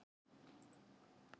Ef þeir myndu ákveða að selja mig?